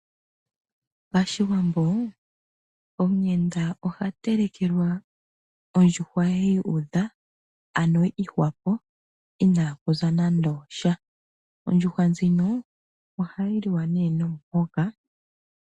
Pashiwambo omuyenda oha telekelwa ondjuhwa ye yuudha, ano yi ihwapo inaakuza nando osha. Ondjuhwa ndjino ohayi liwa nee nomuhoka.